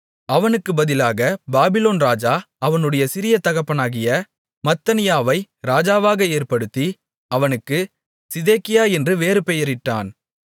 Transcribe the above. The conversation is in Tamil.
அவனுக்குப் பதிலாகப் பாபிலோன் ராஜா அவனுடைய சிறிய தகப்பனாகிய மத்தனியாவை ராஜாவாக ஏற்படுத்தி அவனுக்கு சிதேக்கியா என்று வேறுபெயரிட்டான்